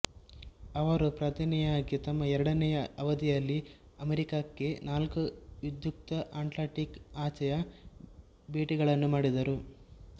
ಅವರು ಪ್ರಧನಿಯಾಗಿ ತಮ್ಮ ಎರಡನೆಯ ಅವಧಿಯಲ್ಲಿ ಅಮೇರಿಕಾಕ್ಕೆ ನಾಲ್ಕು ವಿಧ್ಯುಕ್ತ ಅಟ್ಲಾಂಟಿಕ್ ಆಚೆಯ ಭೆಟಿಗಳನ್ನು ಮಾಡಿದರು